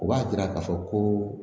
O b'a yira k'a fɔ ko